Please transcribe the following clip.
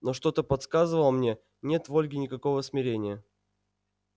но что-то подсказывало мне нет в ольге никакого смирения